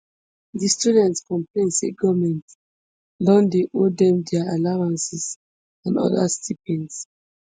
di students complain say goment don dey owe dem dia allowances and oda stipends